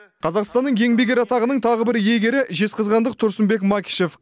қазақстанның еңбек ері атағының тағы бір иегері жезқазғандық тұрсынбек макишев